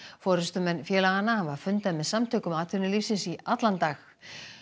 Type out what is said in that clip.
forystumenn félaganna hafa fundað með Samtökum atvinnulífsins í allan dag